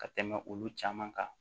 Ka tɛmɛ olu caman kan